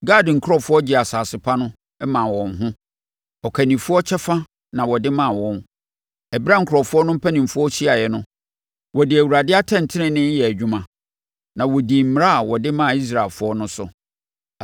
Gad nkurɔfoɔ gyee asase pa no maa wɔn ho; ɔkannifoɔ kyɛfa na wɔde maa wɔn. Ɛberɛ a nkurɔfoɔ no mpanimfoɔ hyiaeɛ no, wɔde Awurade atɛntenenee yɛɛ adwuma, na wɔdii mmara a wɔde maa Israelfoɔ no so.”